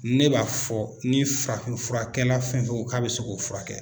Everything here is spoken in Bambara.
Ne b'a fɔ ni farafin furakɛla fɛn fɛn ko k'a bɛ se k'o fura kɛ